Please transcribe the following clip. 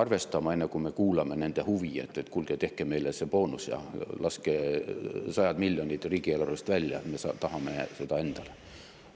arvestama, enne kui me kuulame nende huvi, et kuulge, tehke meile see boonus, laske sajad miljonid riigieelarvest välja, me tahame seda raha endale.